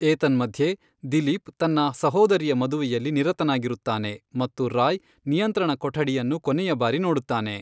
ಏತನ್ಮಧ್ಯೆ, ದಿಲೀಪ್ ತನ್ನ ಸಹೋದರಿಯ ಮದುವೆಯಲ್ಲಿ ನಿರತರಾಗಿರುತ್ತಾನೆ ಮತ್ತು ರಾಯ್ ನಿಯಂತ್ರಣ ಕೊಠಡಿಯನ್ನು ಕೊನೆಯ ಬಾರಿ ನೋಡುತ್ತಾನೆ.